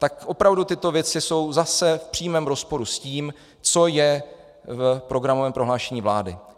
Tak opravdu tyto věci jsou zase v přímém rozporu s tím, co je v programovém prohlášení vlády.